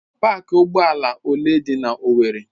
Pááki ụgbọ ala ole dị na owerri?